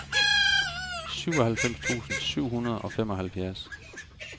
syvoghalvfems tusind syv hundrede og femoghalvfjerds